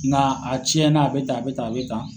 Nga a ciɲɛna, a bɛ tan a bɛ tan a bɛ tan.